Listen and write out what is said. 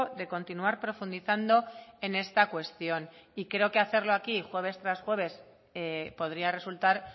de continuar profundizando en esta cuestión y creo que hacerlo aquí jueves tras jueves podría resultar